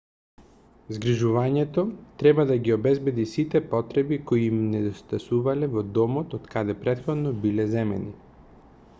згрижувањето треба да ги обезбеди сите потреби кои им недостасувале во домот од каде претходно биле земени